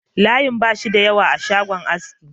Layin ba shi da yawa a shagon aski